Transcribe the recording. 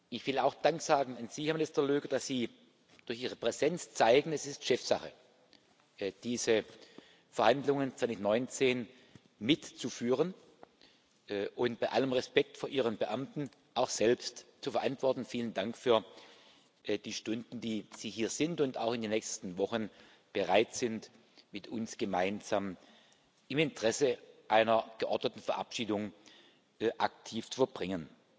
Ich will auch Dank sagen an Sie, Herr Minister Löger, dass Sie durch Ihre Präsenz zeigen Es ist Chefsache, diese Verhandlungen 2019 mit zu führen und bei allem Respekt vor Ihren Beamten auch selbst zu verantworten. Vielen Dank für die Stunden, die Sie hier sind und auch in den nächsten Wochen bereit sind, mit uns gemeinsam im Interesse einer geordneten Verabschiedung aktiv zu verbringen.